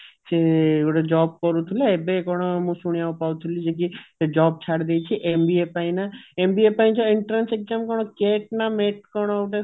ସେ ଗୋଟେ job କରିଥିଲା ଏବେ କଣ ପାଉଥିଲି ଇଏ ସିଏ ଏବେ job ଛାଡିଦେଇଛି MBA ପାଇଁ ନା MBA ପାଇଁ ଯୋଉ entrance exam କଣ CAT ନା NET କଣ ଗୋଟେ ଅଛି